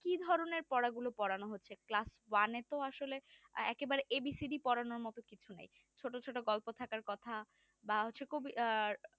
কি ধরনের পড়াগুলো পড়ানো হচ্ছে class one তো আসলে একেবারে ABCD পড়ানোর মতো কিছু নাই ছোট ছোট গল্প থাকার কথা বা হচ্ছে খুবই আর